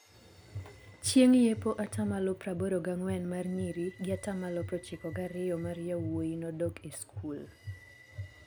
Chieng' yepo atamalo praboro gang'wen mar nyiri gi atamalo prochiko gario mar yawuoyi nodok e skul.